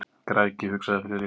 Græðgi, hugsaði Friðrik.